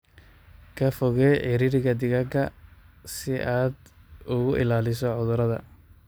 Ka fogeey ciriiriga digaaga si aad uga ilaaliso cudurrada.